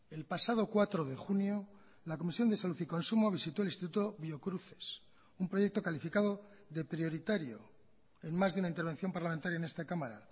el pasado cuatro de junio la comisión de salud y consumo visitó el instituto biocruces un proyecto calificado de prioritario en más de una intervención parlamentaria en esta cámara